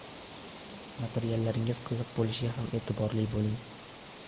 Materiallaringiz qiziq bo‘lishiga ham e’tiborli bo‘ling.